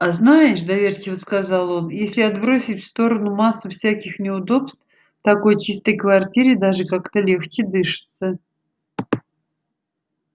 а знаешь доверчиво сказал он если отбросить в сторону массу всяких неудобств в такой чистой квартире даже как-то легче дышится